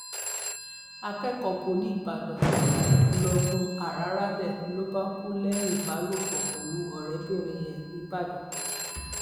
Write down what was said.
akẹkọọ poli ìbàdàn lóògùn àràrálẹ ló bá kú lẹyìn ìbálòpọ pẹlú ọrẹbìnrin ẹ nìbàdàn